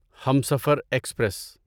Humsafar express